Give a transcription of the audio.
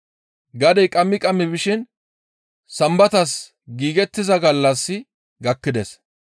Gadey qammi qammi bishin Sambatas giigettiza gallassi gakkides.